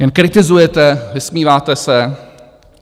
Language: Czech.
Jen kritizujete, vysmíváte se.